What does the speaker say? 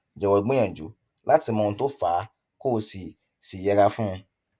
jọwọ gbìyànjú láti mọ ohun tó fà á kó o sì sì yẹra fún un